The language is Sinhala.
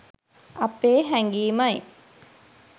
අපේ හැඟීමයි.